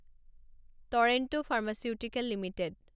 torrent Pharmaceuticals limited